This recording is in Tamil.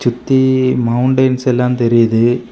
சுத்தி மௌண்டைன்ஸ் எல்லா தெரியுது.